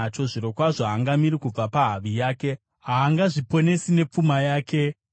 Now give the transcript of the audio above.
“Zvirokwazvo haangamiri kubva pahavi yake; haangazviponesi nepfuma yake.